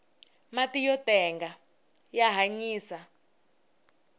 mati yo tenga ya hanyisa